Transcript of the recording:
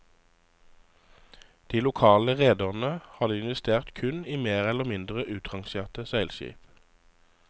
De lokale rederne hadde investert kun i mer eller mindre utrangerte seilskip.